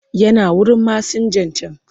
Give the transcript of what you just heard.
Yana wurin masinjan can.